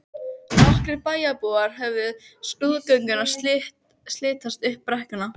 Nokkrir bæjarbúar horfðu á skrúðgönguna silast upp brekkuna.